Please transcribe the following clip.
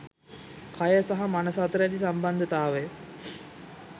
කය සහ මනස අතර ඇති සම්බන්ධතාවය